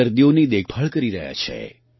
ના દર્દીઓની દેખભાળ કરી રહ્યા છે